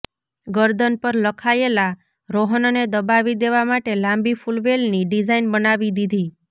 ગરદન પર લખાયેલા રોહનને દબાવી દેવા માટે લાંબી ફૂલવેલની ડિઝાઇન બનાવી દીધી